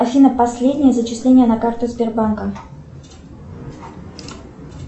афина последнее зачисление на карту сбербанка